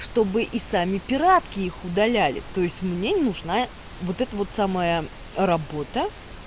чтобы и сами пиратке их удаляли то есть мне не нужна вот это вот самая работа